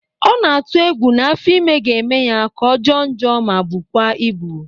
Ọ na-atụ egwu na afọ ime ga-eme ya ka ọ jọọ njọ ma bụkwa ịbụ